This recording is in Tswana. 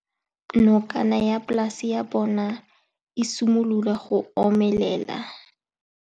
Nokana ya polase ya bona, e simolola go omelela.